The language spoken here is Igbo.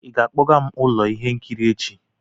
ị ga-akpọga m ụlọ ihe nkiri echi?